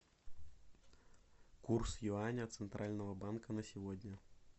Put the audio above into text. курс юаня центрального банка на сегодня